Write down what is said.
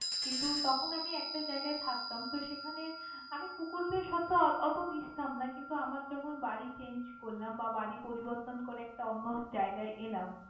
কিন্তু তখন আমি একটা জায়গায় থাকতাম তো সেখানে আমি কুকুরদের সাথে ওতো মিশতাম না কিন্তু আমার যখন বাড়ি change করলাম বা বাড়ি পরিবর্তন করে একটা অন্য জায়গায় এলাম।